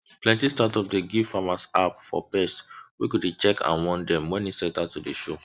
plenty startup dey give farmers app for pest wey go dey check and warn dem when insect start to dey show